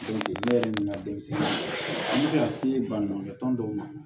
ne yɛrɛ nana denmisɛnnin a bɛ se ka se baɲumankɛ tɔn dɔw ma